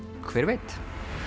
hver veit